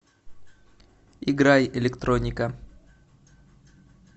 играй электроника